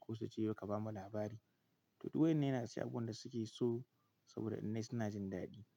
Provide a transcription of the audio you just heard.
ko su ce "yau ka bamu labari". To duk wa ƴan nan yana daga cikin abubuwan da suke so saboda in nayi suna jin daɗi.